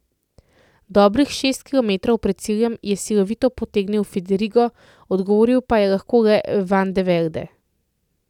Dobrih šest kilometrov pred ciljem je silovito potegnil Fedrigo, odgovoril pa je lahko le Vande Velde.